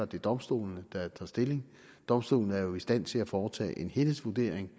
det er domstolene der tager stilling domstolene er jo i stand til at foretage en helhedsvurdering